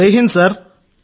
జై హింద్ సార్